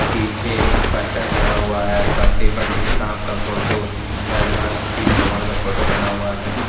पीछे पर्दा लगा हुआ है पर्दे पर एक सांप का फोटो झरना शिव भगवान का फोटो बना हुआ है।